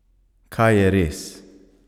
Kaj je res?